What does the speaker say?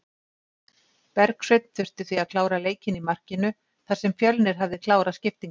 Bergsveinn þurfti því að klára leikinn í markinu þar sem Fjölnir hafði klárað skiptingar.